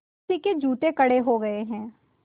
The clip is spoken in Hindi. किसी के जूते कड़े हो गए हैं